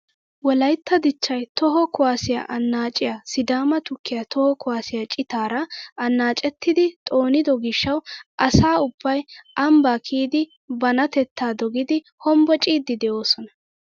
wolaytta dichchay toho kuwaasiyaa annaaciyaa sidama tukkiyaa toho kuwaasiyaa citaara annaacettidi xoonido giishshawu asa ubbay ambbaa kiyidi banatettaa dogidi hombbociidi de'oosona!